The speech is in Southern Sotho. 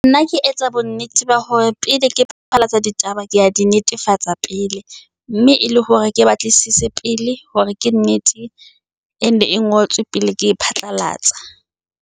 Nna ke etsa bonnete ba hore pele ke ditaba, ke di netefatsa pele. Mme e le hore ke batlisise pele hore ke nnete, ene e ngotswe pele ke e phatlalatsa.